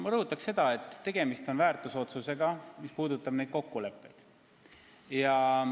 Ma rõhutan, et tegemist on väärtusotsusega, mis puudutab neid kokkuleppeid.